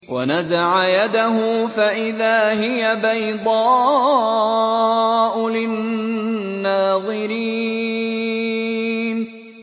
وَنَزَعَ يَدَهُ فَإِذَا هِيَ بَيْضَاءُ لِلنَّاظِرِينَ